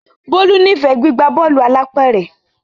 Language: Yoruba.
Bolu n'ifẹ gbigba Bọ́ọ̀lù alápẹ̀rẹ̀.